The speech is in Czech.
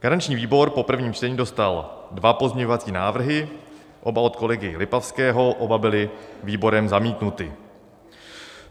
Garanční výbor po prvním čtení dostal dva pozměňovací návrhy, oba od kolegy Lipavského, oba byly výborem zamítnuty.